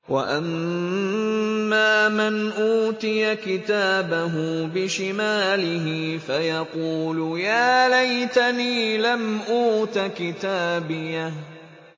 وَأَمَّا مَنْ أُوتِيَ كِتَابَهُ بِشِمَالِهِ فَيَقُولُ يَا لَيْتَنِي لَمْ أُوتَ كِتَابِيَهْ